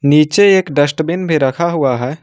नीचे एक डस्टबिन भी रखा हुआ है।